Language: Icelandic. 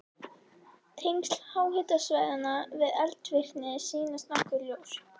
Tengsl háhitasvæðanna við eldvirkni sýnast nokkuð ljós.